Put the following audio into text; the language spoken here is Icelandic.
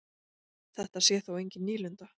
Þetta sé þó engin nýlunda.